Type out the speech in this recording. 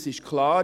Es ist klar.